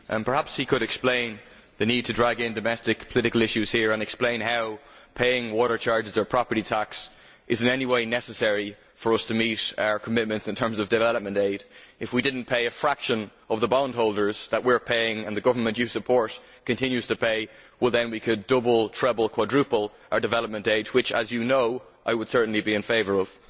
Perhaps he could explain the need to drag in domestic political issues here and explain how paying water charges or property tax is in any way necessary for us to meet our commitments in terms of development aid. If we did not pay a fraction of the bondholders that we are paying and the government you support continues to pay, Mr Mitchell, we could double, treble or quadruple our development aid which as you know I would certainly be in favour of.